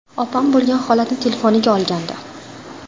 Opam bo‘lgan holatni telefoniga olgandi.